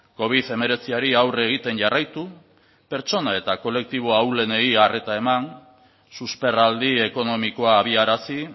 covid hemeretziari aurre egiten jarraitu pertsona eta kolektibo ahulenei arreta eman susperraldi ekonomikoa abiarazi